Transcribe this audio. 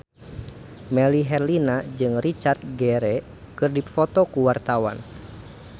Melly Herlina jeung Richard Gere keur dipoto ku wartawan